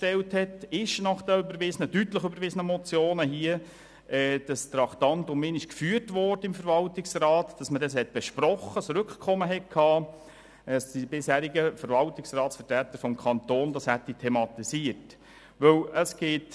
Daher hat sich die BaK die Frage gestellt, ob die bisherigen Verwaltungsratsvertreter des Kantons diese, vom Grossen Rat deutlich überwiesenen Motionen thematisiert und dort ein Rückkommen beantragt haben.